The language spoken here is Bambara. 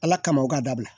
Ala kama o k'a dabila